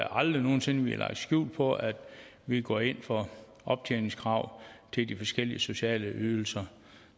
aldrig nogen sinde har lagt skjul på at vi går ind for optjeningskrav til de forskellige sociale ydelser